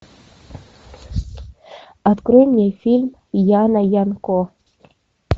открой мне фильм яна янко